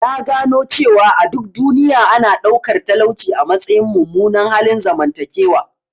Na gano cewa a duk duniya, ana ɗaukar talauci a matsayin mummunan halin zamantakewa.